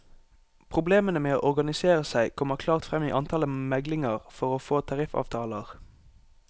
Problemene med å organisere seg kommer klart frem i antallet meglinger for å få tariffavtaler.